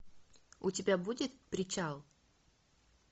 у тебя будет причал